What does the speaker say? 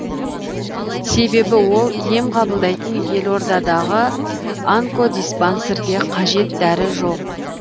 себебі ол ем қабылдайтын елордадағы онкодиспансерде қажет дәрі жоқ